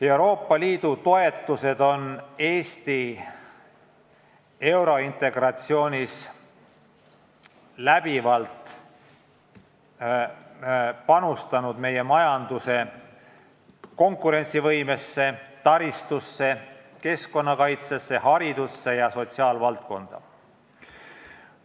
Euroopa Liidu toetused on Eesti eurointegratsioonis läbivalt panustatud meie majanduse konkurentsivõimesse, taristusse, keskkonnakaitsesse, haridusse ja sotsiaalvaldkonda.